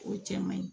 O cɛ man ɲi